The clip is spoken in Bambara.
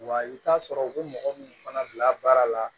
Wa i bɛ taa sɔrɔ u bɛ mɔgɔ minnu fana bila baara la